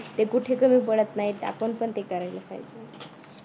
ते कुठे कमी पडत नाहीत आपण पण ते करायला पाहिजे.